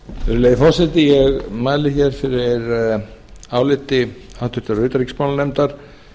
virðulegi forseti ég mæli fyrir áliti háttvirtrar utanríkismálanefndar